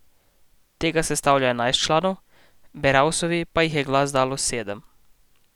Tega sestavlja enajst članov, Beravsovi pa jih je glas dalo sedem.